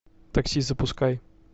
такси запускай